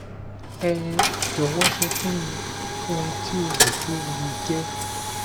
ẹ jọwọ sọ fun mi ohun ti o ro pe o le jẹ